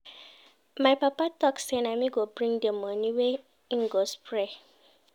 My papa tok sey na me go bring di moni wey im go spray.